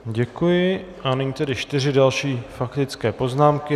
Děkuji a nyní tedy čtyři další faktické poznámky.